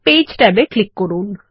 page ট্যাবে click করুন